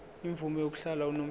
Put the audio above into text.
imvume yokuhlala unomphela